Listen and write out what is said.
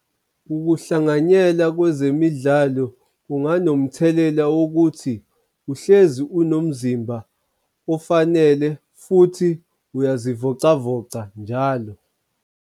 Ukuhlanganyela kwezemidlalo kunganomthelela wokuthi uhlezi unomzimba ofanele futhi uyazivocavoca njalo.